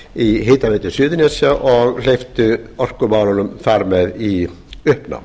í hitaveitu suðurnesja og hleypti orkumálunum þar með í uppnám